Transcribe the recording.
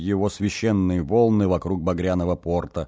его священные волны вокруг багряного порта